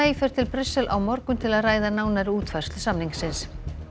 fer til Brussel á morgun til að ræða nánari útfærslu samningsins